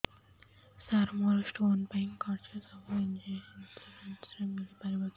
ସାର ମୋର ସ୍ଟୋନ ପାଇଁ ଖର୍ଚ୍ଚ ସବୁ ଇନ୍ସୁରେନ୍ସ ରେ ମିଳି ପାରିବ କି